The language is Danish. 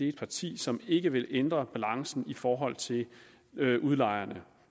et parti som ikke vil ændre balancen i forhold til udlejerne